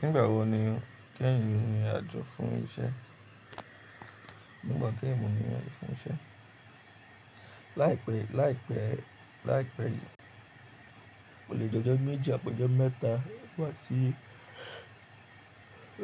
Nígbà wo ni o kẹ́yin ni ìrìn àjò fún iṣẹ́? Nígbà tó ẹ̀mú ni wọ́n fún iṣẹ́. Láìpẹ́, láìpẹ́, láìpẹ́ olè jọjọ méjì àpọ̀jọ̀ mẹ́ta wá sí,